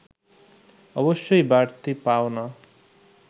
অবশ্যই বাড়তি পাওনা